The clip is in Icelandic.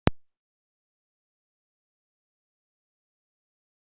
Ingveldur: Og eru fiskarnir hrifnir af því?